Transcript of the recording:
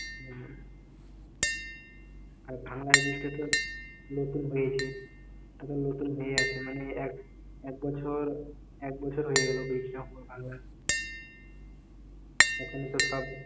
হম আর ভাঙ্গার bridge টা তো নতুন হয়েছে এখন নতুন হয়ে আছে মানে, এক বছর এক বছর হয়ে গেল bridge টা পুরো ভাঙ্গার এখন ওখানে তো সব